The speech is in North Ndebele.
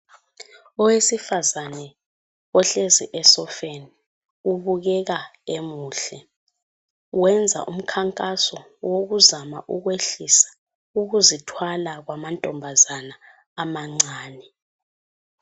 Owesifazane ohlezi esofeni ubukeka emuhle, wenza umkhankaso wokuzama ukwehlisa ukuzithwala kwamantombazana amancane.